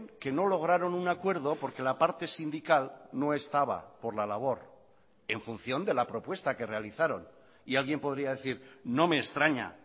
que no lograron un acuerdo porque la parte sindical no estaba por la labor en función de la propuesta que realizaron y alguien podría decir no me extraña